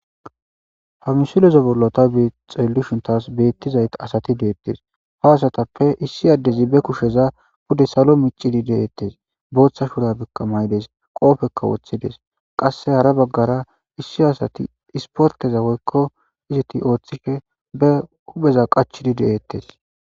ha misulezo bollota bixeellushuntas beettizayt asati deettes ha asatappe issi addezi be kusheza bude salo micidi deeettes booththa shura bikkamaydes qoofekka woththides qasse hara baggara issi asati isporteza woykko iziti ooththike be hupeza qachidi deettes